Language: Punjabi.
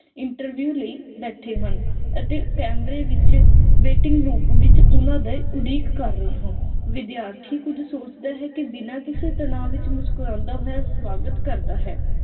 interview ਲਈ ਬੈਠੇ ਹਨ ਅਤੇ ਕੈਮਰੇ ਵਿਚ waiting ਰੂਪ ਵਿਚ ਉਹਨਾਂ ਉਡੀਕ ਕਰ ਰਿਹਾ ਹੈ। ਵਿਦਿਆਰਥੀ ਕੁਝ ਸੋਚਦਾ ਹੈ ਕੇ ਬਿਨਾ ਕਿਸੇ ਤਣਾਅ ਵਿਚ ਮੁਸਕਰਾਂਦਾ ਹੋਇਆ ਸਵਾਗਤ ਕਰਦਾ ਹੈ।